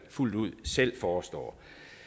fuldt ud selv forestår